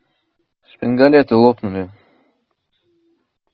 шпингалеты лопнули